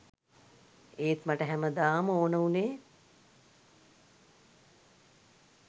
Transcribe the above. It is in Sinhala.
ඒත් මට හැමදාම ඕන වුණේ